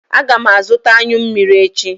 Aga m azụta anyụ mmiri echi.